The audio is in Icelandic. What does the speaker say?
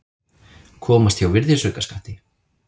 Komast hjá virðisaukaskatti